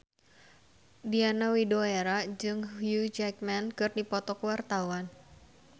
Diana Widoera jeung Hugh Jackman keur dipoto ku wartawan